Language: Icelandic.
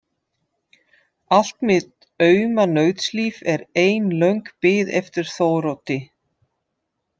Allt mitt auma nautslíf er ein löng bið eftir Þóroddi.